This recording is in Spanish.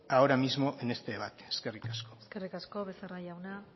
ahora mismo en este debate eskerrik asko eskerrik asko becerra jauna